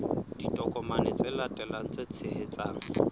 ditokomane tse latelang tse tshehetsang